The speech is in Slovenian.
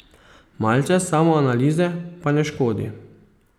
Malce samoanalize pa ne škodi.